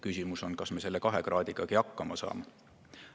Küsimus on, kas me selle 2 kraadigagi hakkama saame.